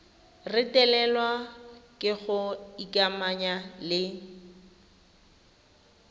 retelelwa ke go ikamanya le